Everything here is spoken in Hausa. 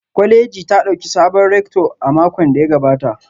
Kwaleji ta dauki sabon rector a makon da ya gabata